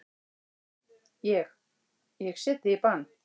Ég. ég set þig í bann!